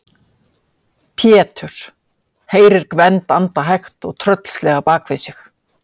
Péturs, heyrir Gvend anda hægt og tröllslega bak við sig.